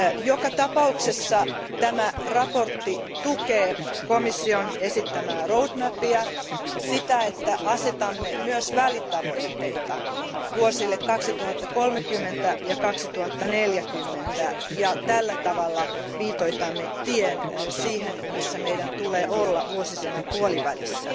Joka tapauksessa tämä mietintö tukee komission esittämää etenemissuunnitelmaa, sitä että asetamme myös välitavoitteita vuosille 2030 ja 2040, ja tällä tavalla viitoitamme tien siihen, missä meidän tulee olla vuosisadan puolivälissä.